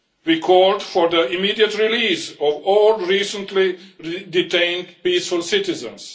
We called for the immediate release of all recently detained peaceful citizens.